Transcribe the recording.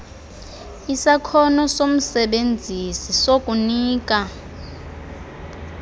isakhono somsebenzisi sokunika